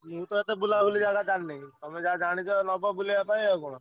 ମୁଁ ତ ଏତେ ବୁଲାବୁଲି ଜାଗା ଜାଣିନି, ତମେ ଯାହା ଜାଣିଚ ନବ ବୁଲେଇଆ ପାଇଁ ଆଉ କଣ?